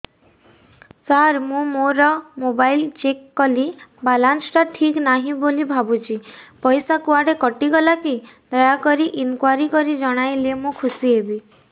ସାର ମୁଁ ମୋର mobile check କଲି ବାଲାନ୍ସ ଟା ଠିକ ନାହିଁ ବୋଲି ଭାବୁଛି ପଇସା କୁଆଡେ କଟି ଗଲା କି ଦୟାକରି ଇନକ୍ୱାରି କରି ଜଣାଇଲେ ମୁଁ ଖୁସି ହେବି